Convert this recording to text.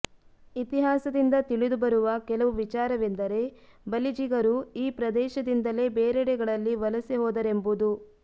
ಇತಿಹಾಸದಿಂದ ತಿಳಿದುಬರುವ ಕೆಲವು ವಿಚಾರವೆಂದರೆ ಬಲಿಜಿಗರು ಈ ಪ್ರದೇಶದಿಂದಲೆ ಬೇರೆಡೆಗಳಲ್ಲಿ ವಲಸೆ ಹೋದರೆಂಬುದು